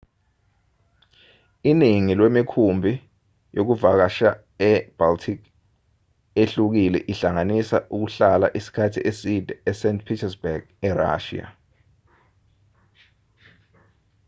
iningi lwemikhumbi yokuvakasha yase-baltic ehlukile ihlanganisa ukuhlala isikhathi eside e-st petersburg e-russia